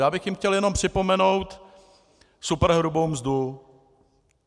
Já bych jim chtěl jenom připomenout superhrubou mzdu.